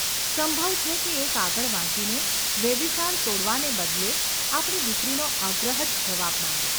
સંભવ છે કે એ કાગળ વાંચીને વેવિશાળ તોડવાને બદલે આપણી દીકરીનો આગ્રહ જ જવાબમાં આવે.